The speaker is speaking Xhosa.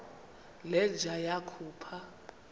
le nja yakhupha